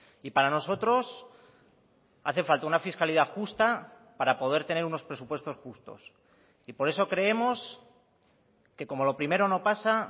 y para nosotros hace falta una fiscalidad justa para poder tener unos presupuestos justos y por eso creemos que como lo primero no pasa